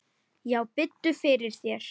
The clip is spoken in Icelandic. Já, biddu fyrir þér.